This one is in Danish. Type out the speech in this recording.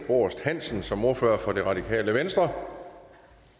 borst hansen som ordfører for det radikale venstre